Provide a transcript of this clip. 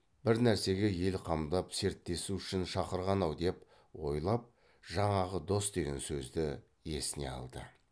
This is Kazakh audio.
бір нәрсеге ел қамдап серттесу үшін шақырған ау деп ойлап жаңағы дос деген сөзді есіне алды